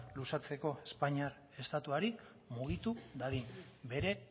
luzatzeko espainiar estatuari mugitu dadin bere